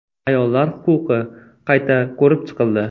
Ayollar huquqi qayta ko‘rib chiqildi.